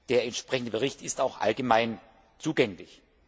Der entsprechende Bericht ist auch allgemein zugänglich.